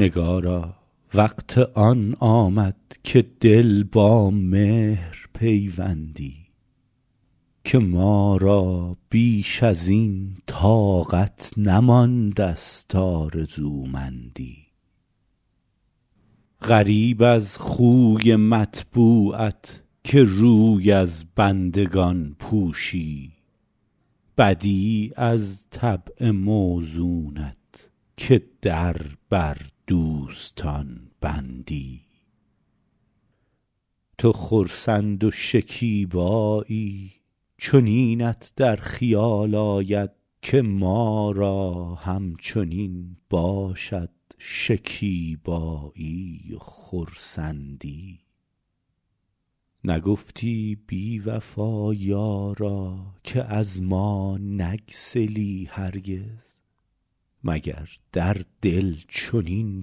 نگارا وقت آن آمد که دل با مهر پیوندی که ما را بیش از این طاقت نمانده ست آرزومندی غریب از خوی مطبوعت که روی از بندگان پوشی بدیع از طبع موزونت که در بر دوستان بندی تو خرسند و شکیبایی چنینت در خیال آید که ما را همچنین باشد شکیبایی و خرسندی نگفتی بی وفا یارا که از ما نگسلی هرگز مگر در دل چنین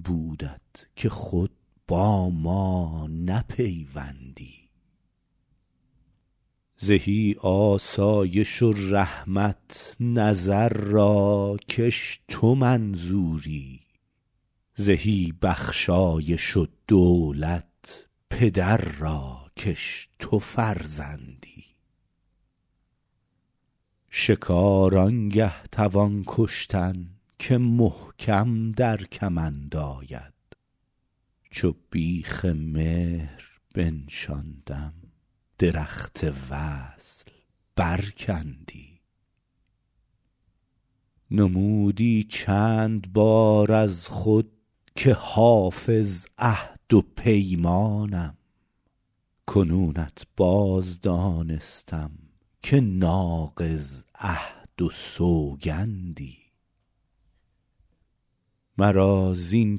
بودت که خود با ما نپیوندی زهی آسایش و رحمت نظر را کش تو منظوری زهی بخشایش و دولت پدر را کش تو فرزندی شکار آن گه توان کشتن که محکم در کمند آید چو بیخ مهر بنشاندم درخت وصل برکندی نمودی چند بار از خود که حافظ عهد و پیمانم کنونت باز دانستم که ناقض عهد و سوگندی مرا زین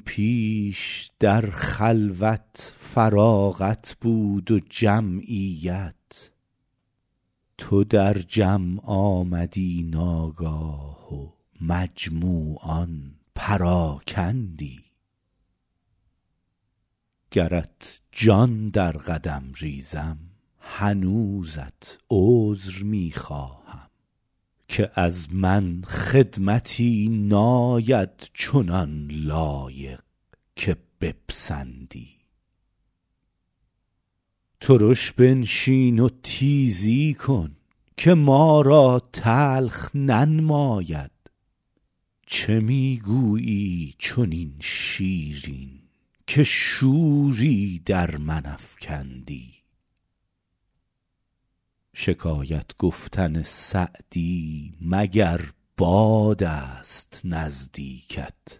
پیش در خلوت فراغت بود و جمعیت تو در جمع آمدی ناگاه و مجموعان پراکندی گرت جان در قدم ریزم هنوزت عذر می خواهم که از من خدمتی ناید چنان لایق که بپسندی ترش بنشین و تیزی کن که ما را تلخ ننماید چه می گویی چنین شیرین که شوری در من افکندی شکایت گفتن سعدی مگر باد است نزدیکت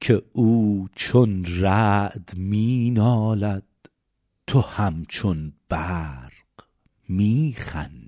که او چون رعد می نالد تو همچون برق می خندی